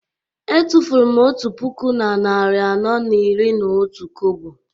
Etufuru m otu puku na narị anọ na iri na otu kobo